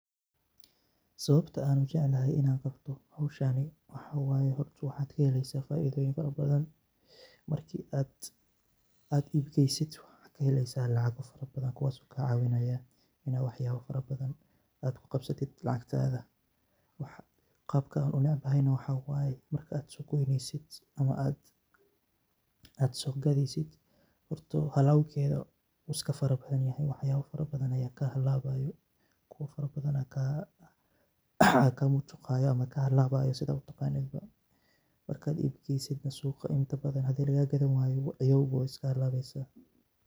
Sawabta aa u jeclahay Ina qabtoh hooshani, waxaye horta waxkaheleysah faithoyin farabadhan marka ibkeysoh waxkaheleysah lacagaka farabadan waxakacawinaya Ina wax farabathan ku qabsatid Qabka iskugeyneysit waxawaye marka aa sogatheysit horta alabketha wuu iskafarabanyahay waxyaba kuwa farabathan Aya kamujuqaya setha u taqanin marka ibkeysoh suqaa kadib handli lagakathani wayoh way iska halabeysah ciyow.